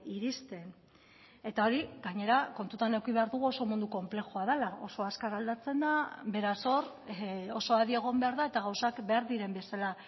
iristen eta hori gainera kontutan eduki behar dugu oso mundu konplexua dela oso azkar aldatzen da beraz hor oso adi egon behar da eta gauzak behar diren bezala